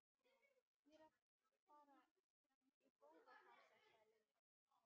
Ég er að fara í bófahasar sagði Lilla.